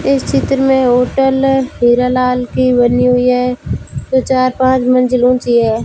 इस चित्र मे होटल हीरालाल की बनी हुई है जो चार पांच मंजिल ऊंची है।